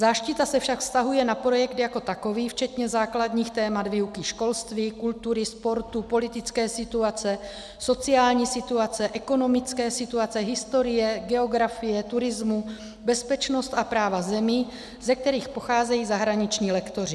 Záštita se však vztahuje na projekt jako takový včetně základních témat výuky školství, kultury, sportu, politické situace, sociální situace, ekonomické situace, historie, geografie, turismu, bezpečnosti a práva zemí, ze kterých pocházejí zahraniční lektoři.